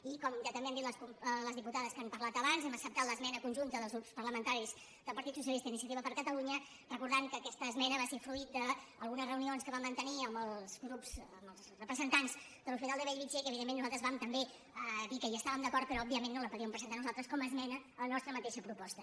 i com ja també han dit les diputades que han parlat abans hem acceptat l’esmena conjunta dels grups parlamentaris del partit socialista i iniciativa per catalunya i recordem que aquesta es·mena va ser fruit d’algunes reunions que vam mante·nir amb els grups amb els representants de l’hospital de bellvitge i que evidentment nosaltres vam també dir que hi estàvem d’acord però òbviament no la po·díem presentar nosaltres com a esmena a la nostra mateixa proposta